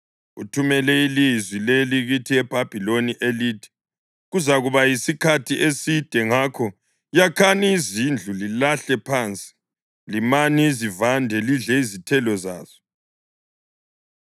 Uthumele ilizwi leli kithi eBhabhiloni elithi: Kuzakuba yisikhathi eside. Ngakho yakhani izindlu lihlale phansi; limani izivande lidle izithelo zazo.’ ”